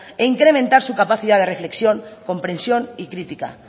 e incrementar su capacidad de reflexión compresión y crítica